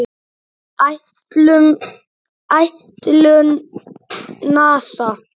Áætlun NASA